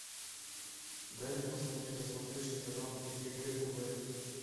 дай мне посмотреть на смотрешке канал егэ тв